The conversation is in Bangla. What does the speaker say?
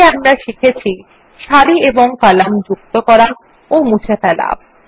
এতে আমরা শিখেছি সারি এবং কলাম যুক্ত করা ও মুছে ফেলা